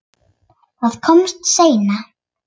Það kom seinna.